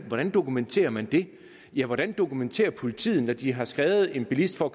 dokumenterer man det ja hvordan dokumenterer politiet når de har skrevet en bilist for